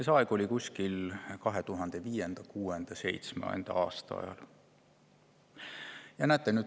See oli kuskil 2005., 2006., 2007. aastal.